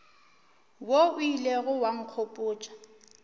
wo o ilego wa nkgopotša